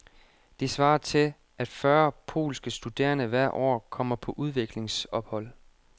Det svarer til, at fyrre polske studerende hvert år kommer på udvekslingsophold.